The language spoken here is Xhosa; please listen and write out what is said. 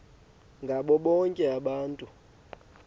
ngabo bonke abantu